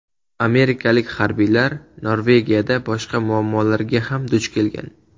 Amerikalik harbiylar Norvegiyada boshqa muammolarga ham duch kelgan.